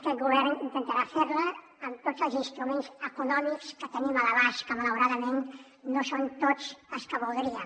aquest govern intentarà fer la amb tots els instruments econòmics que tenim a l’abast que malauradament no són tots els que voldríem